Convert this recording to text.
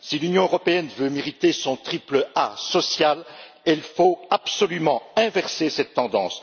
Si l'Union européenne veut mériter son triple A social, il lui faut absolument inverser cette tendance.